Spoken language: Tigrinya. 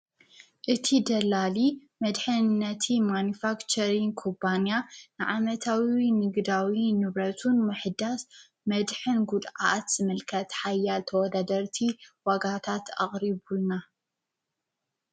እቲ ደላሊ መድሕን ነቲ ማንፋክቸርን ኩባንያ ንዓመታዊ ንግዳዊ ንብረቱን ምሕዳስ መድሕን ጉድኣት ዝምልከት ሓያል ተወደደርቲ ዋጋታት ኣቅሪቡልና